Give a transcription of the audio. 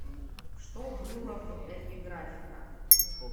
что было в эпиграфика